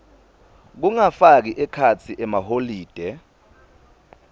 kungafaki ekhatsi emaholide